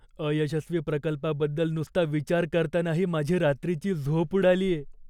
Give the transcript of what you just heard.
अयशस्वी प्रकल्पाबद्दल नुसता विचार करतानाही माझी रात्रीची झोप उडालीये.